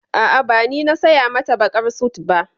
A'a, ba ni na saya mata baƙar sut ba.